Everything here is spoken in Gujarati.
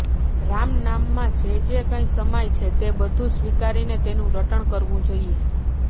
રામનામમાં જે જે કંઈ સમાય છે તે બધું સ્વીકારીને તેનું રટણ કરવું જોઈએ